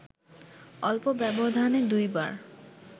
অল্প ব্যবধানে দুইবার